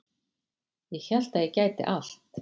Ég hélt að ég gæti allt